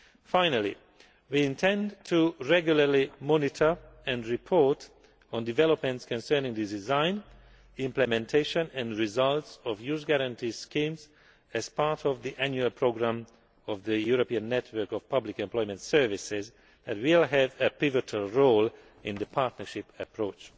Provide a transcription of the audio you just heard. Finally, we intend to regularly monitor and report on developments concerning the design, implementation and results of youth guarantee schemes as part of the annual programme of the European Network of Public Employment Services, which will have a pivotal role in the partnership approach.